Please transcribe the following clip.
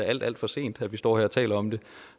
alt alt for sent at vi står her og taler om det